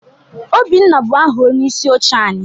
Obinna bụ aha onyeisi oche anyị.